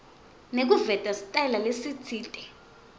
nekuveta sitayela lesitsite